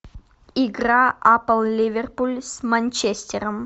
игра апл ливерпуль с манчестером